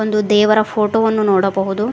ಒಂದು ದೇವರ ಫೋಟೋ ವನ್ನು ನೋಡಬಹುದು.